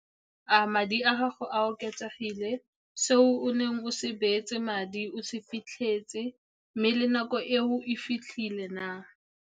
A madi a gago a oketsegile, se o neng o se beetse madi o se fitlhetse, mme le nako eo e fitlhile na?